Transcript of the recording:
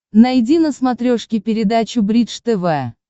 найди на смотрешке передачу бридж тв